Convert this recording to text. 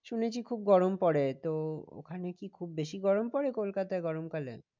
শুনেছি খুব গরম পরে তো ওখানে কি খুব বেশি গরম পরে কলকাতায় গরম কালে?